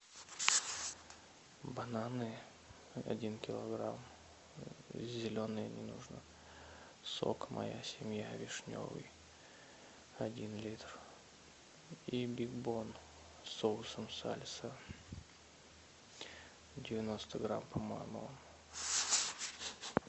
бананы один килограмм зеленые не нужно сок моя семья вишневый один литр и биг бон с соусом сальса девяносто грамм по моему